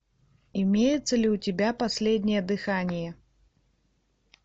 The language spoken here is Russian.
имеется ли у тебя последнее дыхание